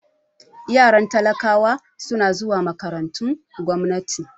Yaran talakawa suna zuwa makarantun gwamnati